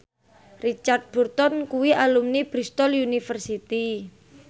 Richard Burton kuwi alumni Bristol university